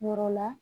Yɔrɔ la